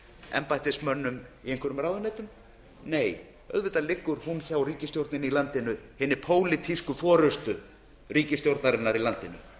embættismönnum í einhverjum ráðuneytum nei auðvitað liggur hún hjá ríkisstjórninni í landinu hinni pólitísku forustu ríkisstjórnarinnar í landinu